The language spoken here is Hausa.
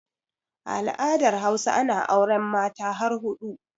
A al'adar Hausa ana auren Mata har huɗu